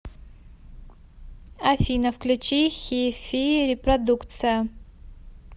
афина включи хи фи репродукция